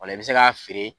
Ola i bɛ se k'a feere